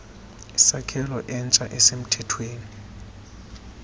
sakhelo entsha esemthethweni